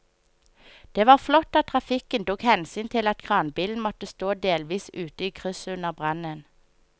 Det var flott at trafikken tok hensyn til at kranbilen måtte stå delvis ute i krysset under brannen.